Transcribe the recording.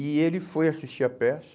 E ele foi assistir a peça.